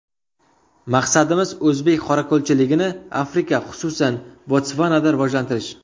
Maqsadimiz, o‘zbek qorako‘lchiligini Afrika, xususan Botsvanada rivojlantirish.